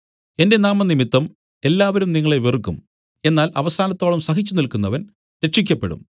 എന്റെ നാമംനിമിത്തം എല്ലാവരും നിങ്ങളെ വെറുക്കും എന്നാൽ അവസാനത്തോളം സഹിച്ചു നില്ക്കുന്നവൻ രക്ഷിയ്ക്കപ്പെടും